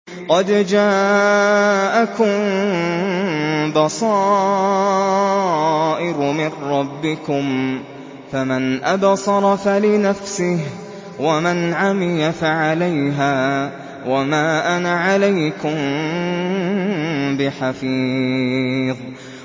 قَدْ جَاءَكُم بَصَائِرُ مِن رَّبِّكُمْ ۖ فَمَنْ أَبْصَرَ فَلِنَفْسِهِ ۖ وَمَنْ عَمِيَ فَعَلَيْهَا ۚ وَمَا أَنَا عَلَيْكُم بِحَفِيظٍ